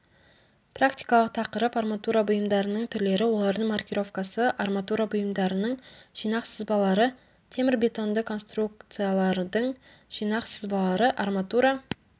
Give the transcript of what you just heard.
практикалық тақырып арматура бұйымдарының түрлері олардың маркировкасы арматура бұйымдарының жинақ сызбалары темірбетонды конструкциялардың жинақ сызбалары арматура